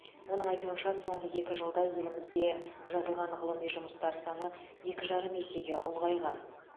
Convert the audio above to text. оның айтуынша соңғы екі жылда елімізде жазылған ғылыми жұмыстар саны екі жарым есеге ұлғайған